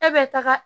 E bɛ taga